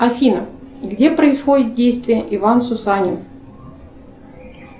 афина где происходит действие иван сусанин